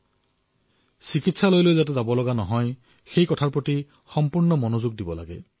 আমি যাতে চিকিৎসালয়লৈ যাবলগীয়া নহয় তাৰবাবে ধ্যান ৰাখিব লাগিব